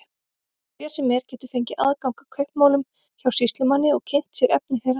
Hver sem er getur fengið aðgang að kaupmálum hjá sýslumanni og kynnt sér efni þeirra.